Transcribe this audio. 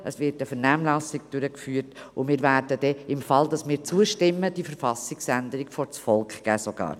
Es wird eine Vernehmlassung durchgeführt, und wir werden, im Fall, dass wir zustimmen, diese Verfassungsänderung sogar vor das Volk bringen.